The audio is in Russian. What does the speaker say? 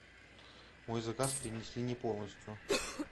мой заказ принесли не полностью